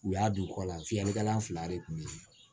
U y'a don kɔ la fiyɛlikɛla fila de kun be yen